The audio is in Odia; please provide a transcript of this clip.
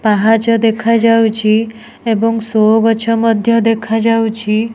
ପାହାଚ ଦେଖା ଯାଉଚି ଏବଂ ଶୋ ମଧ୍ୟ ଦେଖା ଯାଉଚି।